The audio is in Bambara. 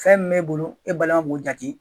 Fɛn min b'e bolo e balima m'o jate.